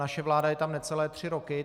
Naše vláda je tam necelé tři roky.